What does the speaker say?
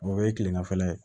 O ye kilemafɛla ye